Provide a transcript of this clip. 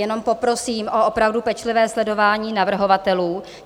Jenom poprosím o opravdu pečlivé sledování navrhovatelů.